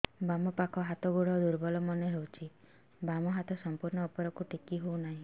ବାମ ପାଖ ହାତ ଗୋଡ ଦୁର୍ବଳ ମନେ ହଉଛି ବାମ ହାତ ସମ୍ପୂର୍ଣ ଉପରକୁ ଟେକି ହଉ ନାହିଁ